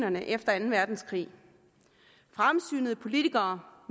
de videre